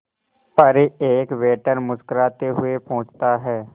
पर एक वेटर मुस्कुराते हुए पूछता है